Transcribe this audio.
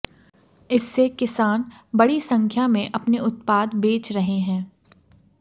इससे किसान बड़ी संख्या में अपने उत्पाद बेच रहे हैं